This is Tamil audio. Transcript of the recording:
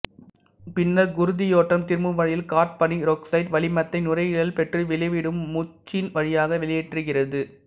பின்னர் குருதியோட்டம் திரும்பும் வழியில் கார்பனீரொக்சைட்டு வளிமத்தை நுரையீரல் பெற்று வெளிவிடும் மூச்சின் வழியாக வெளியேற்றுகிறது